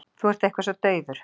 Þú ert eitthvað svo daufur.